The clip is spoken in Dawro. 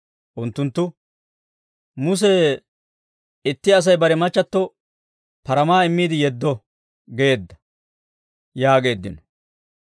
Unttunttu, «Muse, ‹Itti Asay bare machchatto paramaa immiide yeddo› geedda» yaageeddino.